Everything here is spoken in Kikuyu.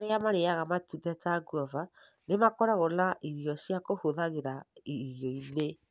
Arĩa marĩĩaga matunda ta guava nĩ makoragwo na irio cia kũhũthagĩra irio-inĩ.